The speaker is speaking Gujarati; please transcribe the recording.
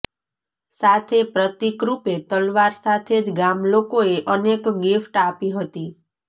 સાથે પ્રતિકરૂપે તલવાર સાથે જ ગામલોકોએ અનેક ગિફ્ટ આપી હતી